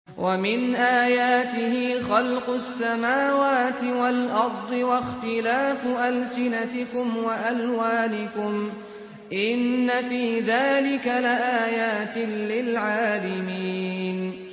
وَمِنْ آيَاتِهِ خَلْقُ السَّمَاوَاتِ وَالْأَرْضِ وَاخْتِلَافُ أَلْسِنَتِكُمْ وَأَلْوَانِكُمْ ۚ إِنَّ فِي ذَٰلِكَ لَآيَاتٍ لِّلْعَالِمِينَ